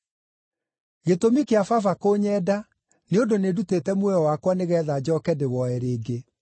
Gĩtũmi kĩa Baba kũnyenda nĩ ũndũ nĩndutĩte muoyo wakwa nĩgeetha njooke ndĩwoe rĩngĩ.